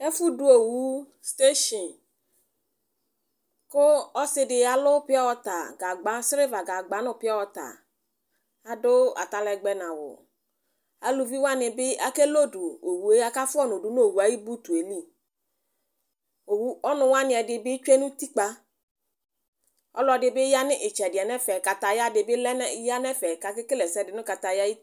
Efʋ dʋ owu stesin, kʋ ɔsɩ dɩ yalʋ pɩawata gagba, sreva gagba nʋ pɩawata, adʋ atalɛgbɛ nawʋAluvi wanɩ bɩ ake lodu fʋa owue, aka fʋa ɔnʋ dʋ nowueli, ɔnʋ wanɩ ɛdɩ bɩ tsue nutikpǝƆlɔ dɩ bɩ ya nʋ ɩtsɛdɩɛ nɛfɛ, kayaya dɩ bɩ lɛ nɛfɛ kakekele ɛsɛ dɩ nʋ katayaɛ li